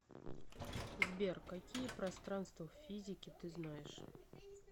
сбер какие пространство в физике ты знаешь